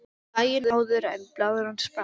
Daginn áður en blaðran sprakk.